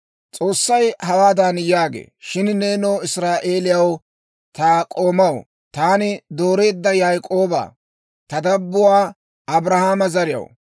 S'oossay hawaadan yaagee, «Shin nenoo Israa'eeliyaw, ta k'oomaw, taani dooreedda Yaak'ooba, ta dabbuwaa Abrahaama zariyaw,